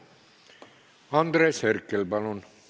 Andres Herkel, palun!